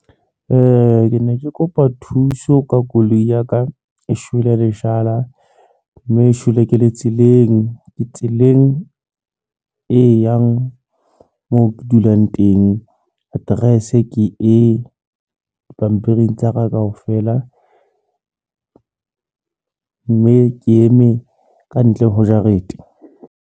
Ke ne ke kopa thuso ka koloi ya ka e shwele leshala mme e shwele ke le tseleng. Ke tseleng e yang mo ke dulang teng. Address ke e dipampiri tsa ka kaofela mme ke eme kantle ho jarete.